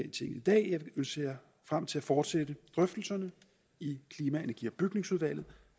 dag og jeg ser frem til at fortsætte drøftelserne i klima energi og bygningsudvalget